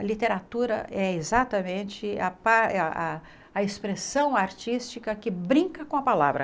A literatura é exatamente a par eh a expressão artística que brinca com a palavra.